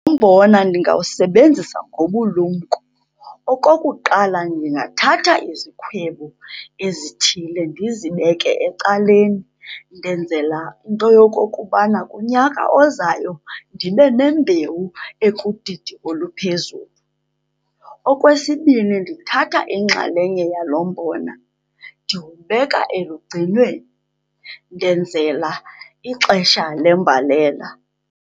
Umbona ndingawusebenzisa ngobulumko. Okokuqala, ndingathatha izikhwebu ezithile ndizibeke ecaleni, ndenzela into yokokubana kunyaka ozayo ndibe nembewu ekudidi oluphezulu. Okwesibini, ndithatha inxalenye yalo mbona ndiwubeka elugcinweni, ndenzela ixesha lembalela.